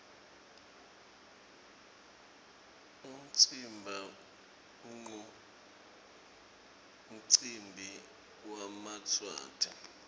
umtsimba nqumcimbi wemaswati